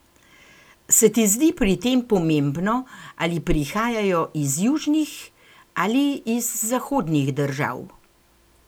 Se ti zdi pri tem pomembno, ali prihajajo iz južnih ali iz zahodnih držav?